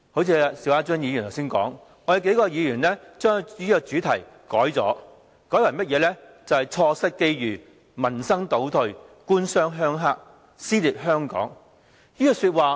正如邵家臻議員剛才所說，我們數位議員將這個主題修改為："錯失機遇，民生倒退，官商鄉黑，撕裂香港"。